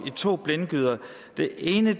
i to blindgyder den ene